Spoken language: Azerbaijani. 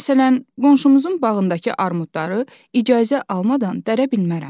Məsələn, qonşumuzun bağındakı armudları icazə almadan dərə bilmərəm.